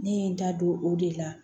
Ne ye n da don o de la